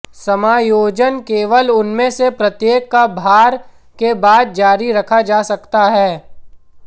समायोजन केवल उनमें से प्रत्येक का भार के बाद जारी रखा जा सकता है